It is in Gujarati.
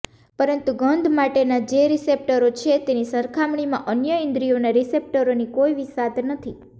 પરંતુ ગંધ માટેનાં જે રિસેપ્ટરો છે તેની સરખામણીમાં અન્ય ઈન્દ્રિયોના રિસેપ્ટરોની કોઈ વિસાત નથી